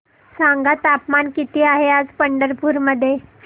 सांगा तापमान किती आहे आज पंढरपूर मध्ये